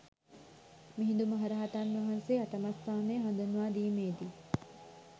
මිහිඳු මහරහතන් වහන්සේ අටමස්ථානය හඳුන්වා දීමේ දී